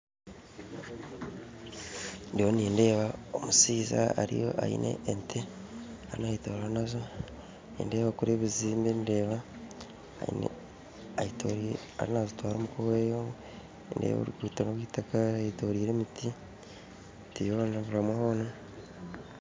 Nyowe nindeeba omushaija aine ente ariyo naagyenda nazo kandi nindeeka kuriya ebizimbe, ente ariyo mazitwara omuka owe, ndeeba oruguuto rwaitaka